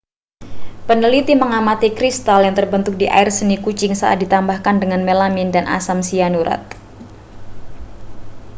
peneliti mengamati kristal yang terbentuk di air seni kucing saat ditambahkan dengan melamin dan asam sianurat